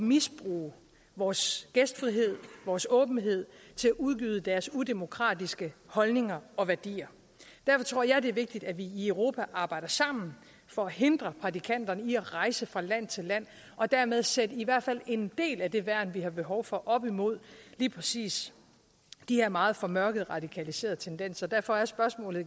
misbruge vores gæstfrihed vores åbenhed til at udgyde deres udemokratiske holdninger og værdier derfor tror jeg at det er vigtigt at vi i europa arbejder sammen for at hindre prædikanterne i at rejse fra land til land og dermed sætte i hvert fald en del af det værn vi har behov for at have op imod lige præcis de her meget formørkede radikaliserede tendenser derfor er spørgsmålet